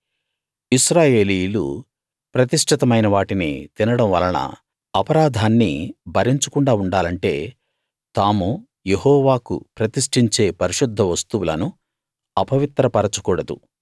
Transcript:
ఇశ్రాయేలీయులు ప్రతిష్ఠితమైన వాటిని తినడం వలన అపరాధాన్ని భరించకుండా ఉండాలంటే తాము యెహోవాకు ప్రతిష్ఠించే పరిశుద్ధ వస్తువులను అపవిత్ర పరచకూడదు